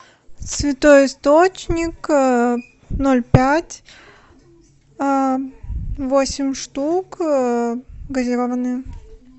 святой источник ноль пять восемь штук газированная